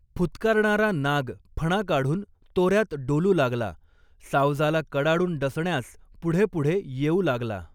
फुत्कारणारा नाग फणा काढून तोऱ्यात डोलू लागला, सावजाला कडाडून डसण्यास पुढे पुढे येऊ लागला.